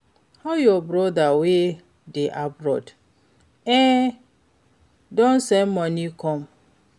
How your brother wey dey abroad? E don send money come?